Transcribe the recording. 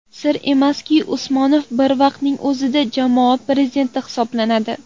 Sir emaski, Usmonov bir vaqtning o‘zida jamoa prezidenti hisoblanadi.